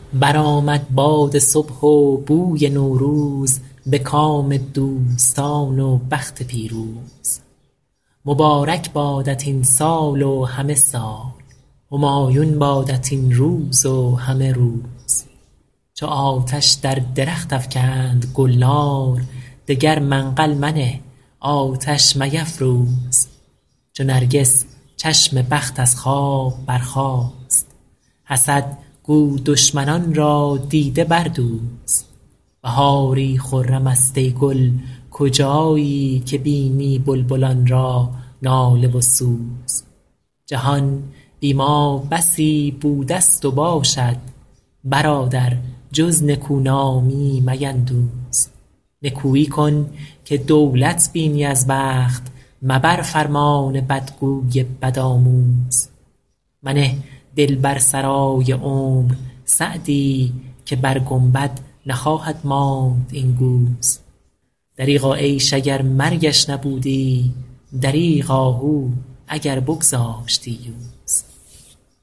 برآمد باد صبح و بوی نوروز به کام دوستان و بخت پیروز مبارک بادت این سال و همه سال همایون بادت این روز و همه روز چو آتش در درخت افکند گلنار دگر منقل منه آتش میفروز چو نرگس چشم بخت از خواب برخاست حسد گو دشمنان را دیده بردوز بهاری خرم است ای گل کجایی که بینی بلبلان را ناله و سوز جهان بی ما بسی بوده ست و باشد برادر جز نکونامی میندوز نکویی کن که دولت بینی از بخت مبر فرمان بدگوی بدآموز منه دل بر سرای عمر سعدی که بر گنبد نخواهد ماند این گوز دریغا عیش اگر مرگش نبودی دریغ آهو اگر بگذاشتی یوز